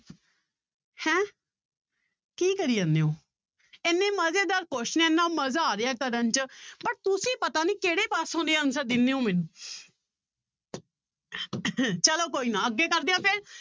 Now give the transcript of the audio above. ਹੈਂ ਕੀ ਕਰੀ ਜਾਂਦੇ ਹੋ ਇੰਨੇ ਮਜ਼ੇਦਾਰ question ਇੰਨਾ ਮਜ਼ਾ ਆ ਰਿਹਾ ਕਰਨ 'ਚ but ਤੁਸੀਂ ਪਤਾ ਨੀ ਕਿਹੜੇ ਪਾਸੋਂ ਦੇ answer ਦਿਨੇ ਹੋ ਮੈਨੂੰ ਚਲੋ ਕੋਈ ਨਾ ਅੱਗੇ ਕਰਦੇ ਹਾਂ ਫਿਰ